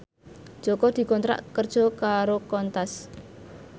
Jaka dikontrak kerja karo Qantas